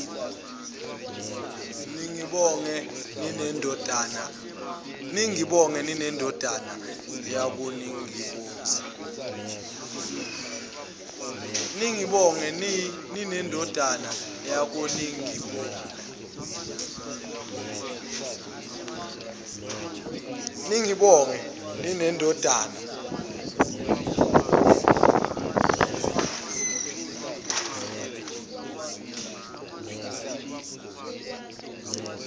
ningibonge ninendodana yakhoningibona